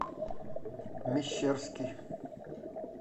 мещерский